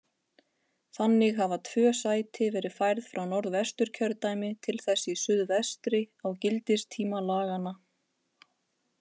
Þannig hafa tvö sæti verið færð frá Norðvesturkjördæmi til þess í suðvestri á gildistíma laganna.